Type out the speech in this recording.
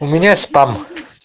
у меня спам